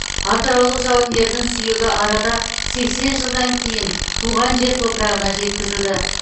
атыраулық жауынгердің сүйегі арада сексен жылдан кейін туған жер топырағына жеткізілді